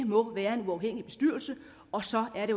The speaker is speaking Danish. må være en uafhængig bestyrelse og så er det